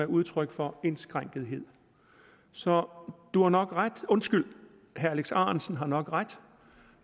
udtryk for indskrænkethed så du har nok ret undskyld herre alex ahrendtsen har nok ret